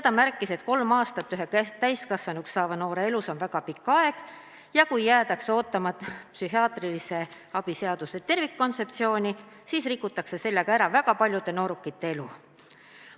Ta märkis, et kolm aastat ühe täiskasvanuks saava noore elus on väga pikk aeg ja kui jääda ootama psühhiaatrilise abi seaduse tervikkontseptsiooni, siis rikutakse sellega ära väga paljude noorukite elu.